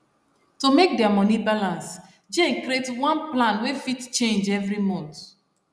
to make their money balance jane create one plan wey fit change every month